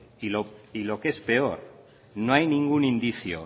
y lo que es peor no hay ningún indicio